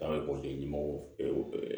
An bɛ